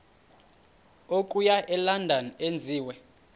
okuya elondon enziwe